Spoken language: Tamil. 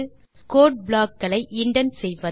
கோடு ப்ளாக் களை இண்டென்ட் செய்வது